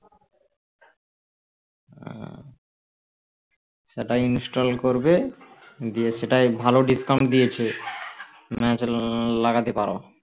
উম ওটা install করবে দিয়ে সেটাই ভালো discount দিয়েছে লাগাতে পারো